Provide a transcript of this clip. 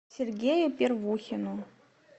сергею первухину